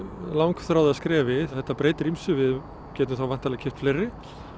langþráða skrefi þetta breytir ýmsu við getum væntanlega keypt fleiri